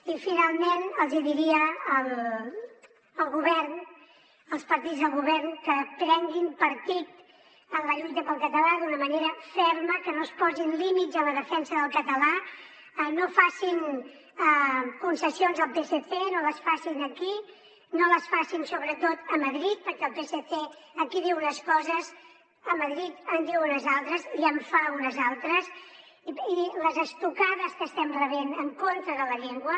i finalment els hi diria al govern als partits de govern que prenguin partit en la lluita pel català d’una manera ferma que no es posin límits en la defensa del català no facin concessions al psc no les facin aquí no les facin sobretot a madrid perquè el psc aquí diu unes coses a madrid en diu unes altres i en fa unes altres i les estocades que estem rebent en contra de la llengua